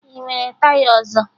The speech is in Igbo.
Ị nwere taya ọzọ?